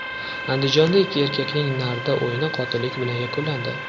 Andijonda ikki erkakning nardi o‘yini qotillik bilan yakunlandi.